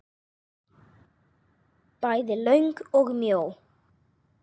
Bæði löng og mjó.